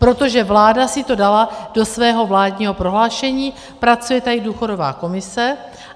Protože vláda si to dala do svého vládního prohlášení, pracuje tady důchodová komise.